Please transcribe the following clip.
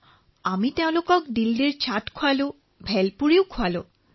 তাত আমি তেওঁলোকক দিল্লীৰ চাটো খুওৱালো ভেলপুৰী খুওৱালো